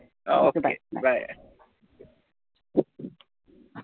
ok bye